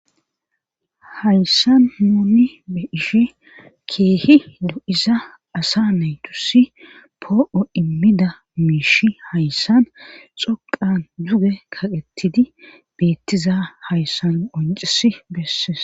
hayssan nuuni beishe keehi du7iza asa naytusi poo7o immida miishi hayssan xoqan duge kaqetidi beettiza hayssan qoncis besses